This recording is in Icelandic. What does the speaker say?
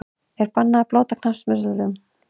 Er bannað að blóta á knattspyrnuvöllum?!